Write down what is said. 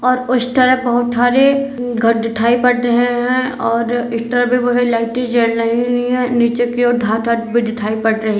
और उस टरफ बहोत ठारे घर दीठाई पड़ रहे हैं और इस टरफ भी बहोत सारी लाइटें जल रही हुयी हैं। नीचे की ओर धत धात भी दिठाई पड़ रहे --